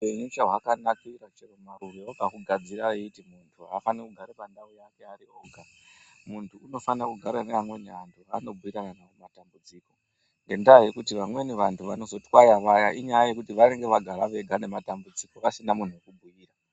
Upenyu chahwakanakira chero Marure wakahugadzire eiti muntu hafaniri kugara ari pandau yake oga muntu unofanire kugara nevamweni vanhu vanobhuyirana navo matambudziko ngendaa yekuti vamweni vantu vanozotwaya vaya inyaya yekuti vanenge vagara vega nematambudziko vasina munhu wekubhuyira.